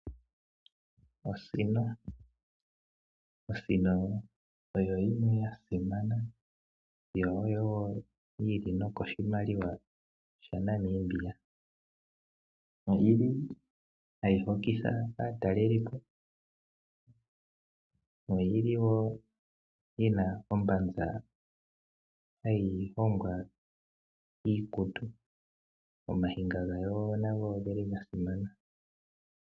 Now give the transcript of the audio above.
Osino. osino oyo yimwe ya simana yo yili nokoshimaliwa sha Namibia. Oyili hayi hokitha aatalelipo. Oyili woo yina ombanza hayi longwa iikutu. Ooniga gayo nadho ogeli odhili dhasimana.